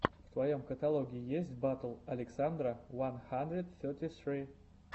в твоем каталоге есть батл александра уан хандрид сети сри